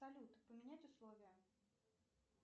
салют поменять условия